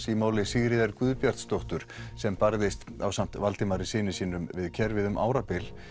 í máli Sigríðar Guðbjarsdóttur sem barðist ásamt Valdimari syni sínum við kerfið um árabil